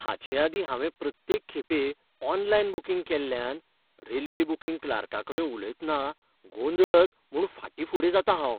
हाचेआदीं हांवें प्रत्येक खेपें ऑनलायन बूकिंग केल्ल्यान रेल्वे बूकिंग क्लार्काकडेन उलयतना गोंदळत म्हूण फाटीं फुडें जातां हांव.